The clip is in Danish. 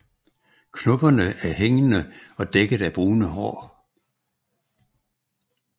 Knopperne er hængende og dækket af brune hår